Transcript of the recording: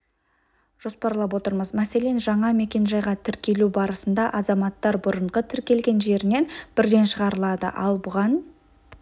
жоспарлап отырмыз мәселен жаңа мекенжайға тіркелу барысында азаматтар бұрынғы тіркелген жерінен бірден шығарылады ал бұған